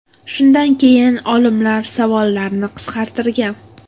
Shundan keyin olimlar savollarni qisqartirgan.